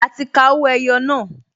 A ti ka owó ẹyọ náà